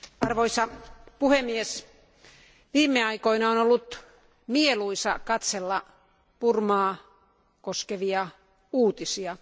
Arvoisa puhemies, viime aikoina on ollut mieluisaa katsella Burmaa koskevia uutisia.